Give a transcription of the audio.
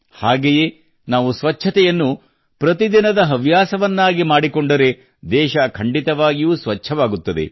ಹಾಗೆಯೇ ನಾವು ಸ್ವಚ್ಛತೆಯನ್ನು ಪ್ರತಿದಿನದ ಹವ್ಯಾಸವನ್ನಾಗಿ ಮಾಡಿಕೊಂಡರೆ ದೇಶ ಖಂಡಿತವಾಗಿಯೂ ಸ್ವಚ್ಛವಾಗುತ್ತದೆ